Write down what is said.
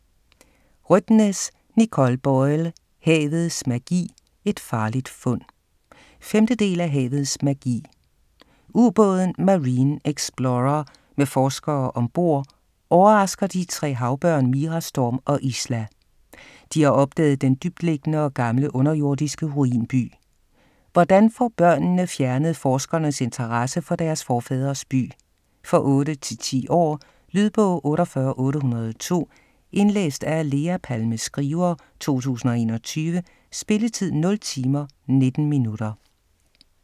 Rødtnes, Nicole Boyle: Havets magi - et farligt fund 5. del af Havets magi. U-båden "Marine Explorer" med forskere ombord overrasker de tre havbørn Mira, Storm og Isla. De har opdaget den dybtliggende og gamle underjordiske ruinby. Hvordan får børnene fjernet forskernes interesse for deres forfædres by? For 8-10 år. Lydbog 48802 Indlæst af Lea Palme Skriver, 2021. Spilletid: 0 timer, 19 minutter.